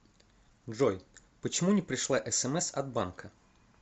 джой почему не пришла смс от банка